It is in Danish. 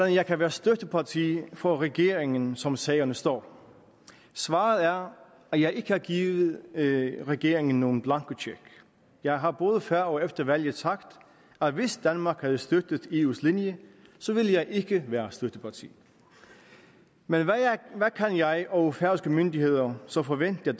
jeg kan være støtteparti for regeringen som sagerne står svaret er at jeg ikke har givet regeringen nogen blankocheck jeg har både før og efter valget sagt at hvis danmark havde støttet eus linje så ville jeg ikke være støtteparti men hvad kan jeg og færøske myndigheder så forvente at